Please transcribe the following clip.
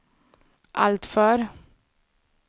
alltför